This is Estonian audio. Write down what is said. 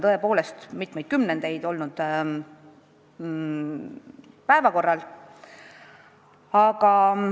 See on mitu kümnendit päevakorral olnud.